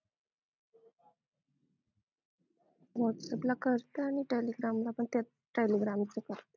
whats app ला करते आणि telegram ला पण telegram